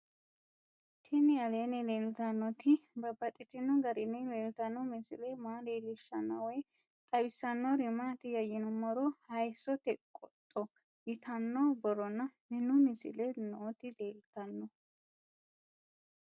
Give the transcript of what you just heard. Tinni aleenni leelittannotti babaxxittinno garinni leelittanno misile maa leelishshanno woy xawisannori maattiya yinummoro hayissote qodho yittanno borronna minu misile nootti leelittanno